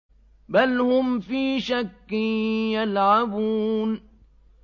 بَلْ هُمْ فِي شَكٍّ يَلْعَبُونَ